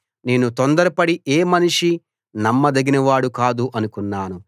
నేను తొందరపడి ఏ మనిషీ నమ్మదగినవాడు కాదు అనుకున్నాను